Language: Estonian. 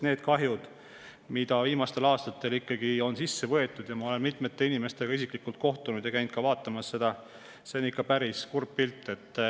Need kahjud, mida viimastel aastatel on, ja ma olen mitmete inimestega isiklikult kohtunud ja käinud neid ka vaatamas – see pilt on ikka päris kurb.